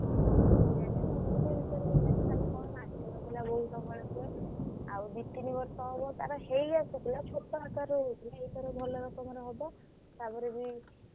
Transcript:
ହଁ ବୋଉ ଜାଣିଥିବ ମୁଁ ସେଇ ବିଷୟରେ କିଛି ଜାଣିନି ଆଉ ଦିତିନି ବର୍ଷ ହେବ ତାର ହେଇଆସିଥିଲା ଛୋଟ ଆକାରରେ ହଉଥିଲା ଏଇ ଥର ଭଲ ଅକାରରେ ହବ।